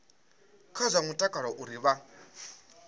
kha zwa mutakalo uri vha